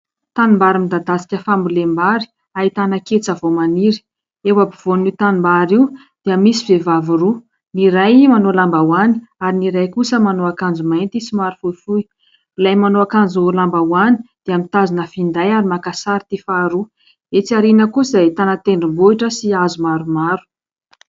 Tanimbary midadasika fambolem-bary ahitana ketsa vao maniry. Eo ampovoanin'io tanimbary io dia misy vehivavy roa, ny iray manao lambahoany ary ny iray kosa manao akanjo mainty somary fohifohy. Ilay manao akanjo lambahoany dia mitazona finday ary maka sary ity faharoa. Etsy aoriana kosa dia ahitana tendrombohitra sy hazo maromaro.